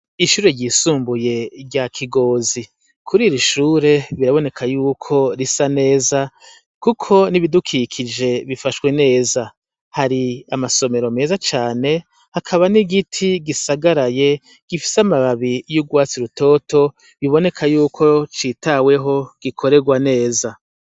Ishure ryisumbuye rya Kigozi. kuri iri shure biraboneka y'uko risa neza kuko n'ibidukikije bifashwe neza. Hari amasomero meza cane, hakaba n'igiti gisagaraye, gifise amababi y'urwatsi rutoto, biboneka y'uko citaweho gikorerwa neza.